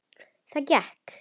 Það gekk.